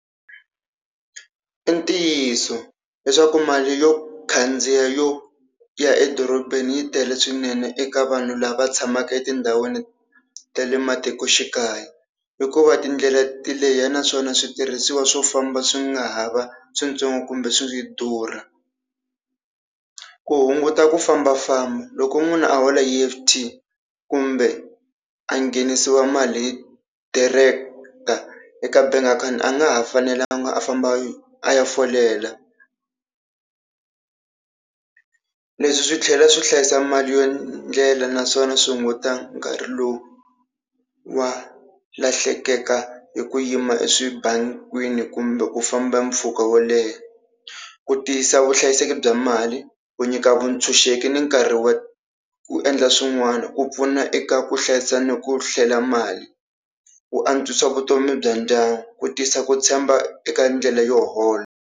I ntiyiso leswaku mali yo khandziya yo ya edorobeni yi tele swinene eka vanhu lava tshamaka etindhawini ta le matikoxikaya, hikuva tindlela ti leha naswona switirhisiwa swo famba swi nga ha va swintsongo kumbe swi durha. Ku hunguta ku fambafamba loko munhu a hola hi E_F_T kumbe a nghenisiwa mali hi director eka bank account a nga ha fanelanga a famba a ya folela. Leswi swi tlhela swi hlayisa mali ya ndlela naswona swi hunguta nkarhi lowu wa lahlekaka hi ku yima eswibangini kumbe ku famba mpfhuka wo leha. Ku tiyisa vuhlayiseki bya mali, ku nyika vuntshunxeki ni nkarhi wa ku endla swin'wana, ku pfuna eka ku hlayisa ni ku hlela mali, ku antswisa vutomi bya ndyangu, ku tisa ku tshemba eka ndlela yo hola.